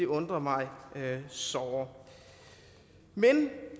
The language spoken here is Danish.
undrer mig såre